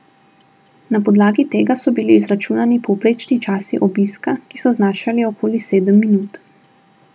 Na podlagi tega so bili izračunani povprečni časi obiska, ki so znašali okoli sedem minut.